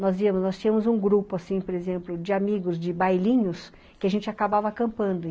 Nós íamos, nós tínhamos um grupo, assim, por exemplo, de amigos de bailinhos, que a gente acabava acampando.